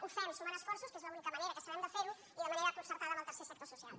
ho fem sumant esforços que és la única manera que sabem de fer ho i de manera concertada amb el tercer sector social